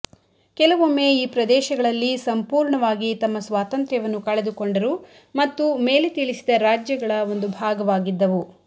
ಕೆಲವೊಮ್ಮೆ ಈ ಪ್ರದೇಶಗಳಲ್ಲಿ ಸಂಪೂರ್ಣವಾಗಿ ತಮ್ಮ ಸ್ವಾತಂತ್ರ್ಯವನ್ನು ಕಳೆದುಕೊಂಡರು ಮತ್ತು ಮೇಲೆ ತಿಳಿಸಿದ ರಾಜ್ಯಗಳ ಒಂದು ಭಾಗವಾಗಿದ್ದವು